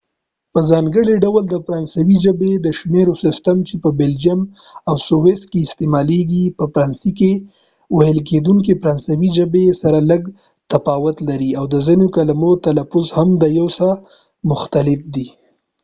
په ځانګړي ډول د فرانسوۍ ژبې د شمیرو سیستم چې په بلجیم او سویس کې استعمالیږي په فرانسه کې ویل کیدونکې فرانسوۍ ژبې سره لږ څه تفاوت لري او د ځینو کلمو تلفظ هم سره یو څه مختلف دی